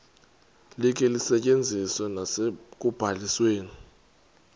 likhe lisetyenziswe nasekubalisweni